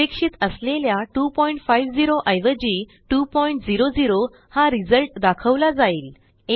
अपेक्षित असलेल्या 250 ऐवजी 200 हा रिझल्ट दाखवला जाईल